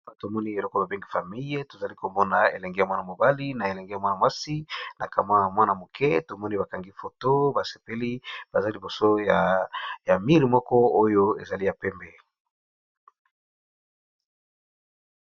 Awa tomoni eloko babengi famille tozali komona elenge ya mwana mobali na elenge ya mwana mwasi na kamwa mwana moke tomoni bakangi foto basepeli baza liboso ya mur oyo ezali ya pembe.